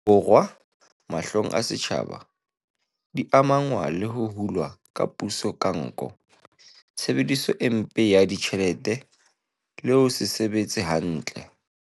Borwa, mahlong a setjhaba, di amahanngwa le ho hulwa ha puso ka nko, tshebediso e mpe ya ditjhelete le ho se sebetse hantle.